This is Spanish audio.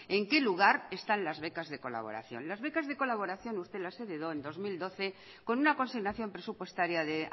en qué lugar están las becas de colaboración las becas de colaboración usted las heredó en dos mil doce con una consignación presupuestaria de